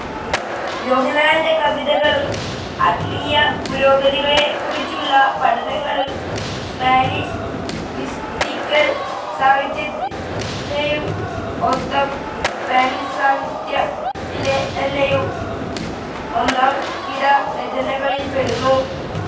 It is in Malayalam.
യോഹന്നാന്റെ കവിതകളും ആത്മീയ പുരോഗതിയെക്കുറിച്ചുള്ള പഠനങ്ങളും സ്പാനിഷ് മിസ്റ്റിക്കൽ സാഹിത്യത്തിലേയും മൊത്തം സ്പാനിഷ് സാഹിത്യത്തിലെ തന്നെയും ഒന്നാംകിട രചനകളിൽ പെടുന്നു.